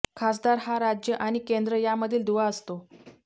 खासदार हा राज्य आणि केंद्र यामधील दुवा असतो